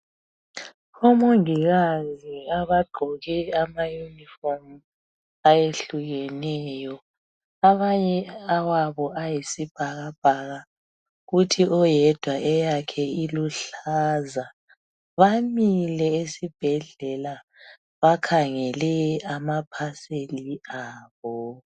Omongikazi abagqoke amauniform ayehlukeneyo abanye awabo ayisibhakabhaka kuthi omunye oyedwa eyakhe iluhlaza bamile esibhedlela bakhangele amaparcel abo